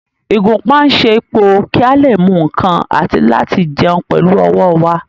Ìgúnpá ń ṣẹ́po kí a lè mú nǹkan àti láti jẹun pẹ̀lú ọwọ́ wa